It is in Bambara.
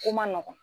Ko man nɔgɔn